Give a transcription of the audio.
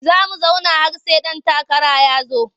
Za mu zauna har sai ɗan takara ya zo.